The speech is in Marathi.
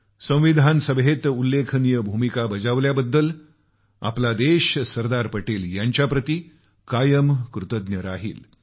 संविधान सभेत उल्लेखनीय भूमिका बजावल्याबद्दल आमचा देश सरदार पटेल यांच्याप्रती कायम कृतज्ञ राहील